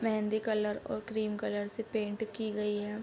मेंहदी colour और cream colour से paint की गई है।